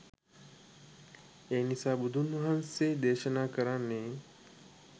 එනිසා බුදුන් වහන්සේ දේශනා කරන්නේ